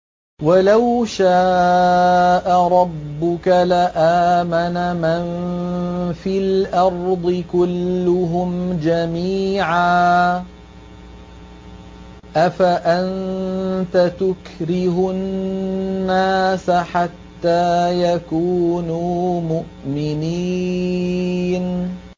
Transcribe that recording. وَلَوْ شَاءَ رَبُّكَ لَآمَنَ مَن فِي الْأَرْضِ كُلُّهُمْ جَمِيعًا ۚ أَفَأَنتَ تُكْرِهُ النَّاسَ حَتَّىٰ يَكُونُوا مُؤْمِنِينَ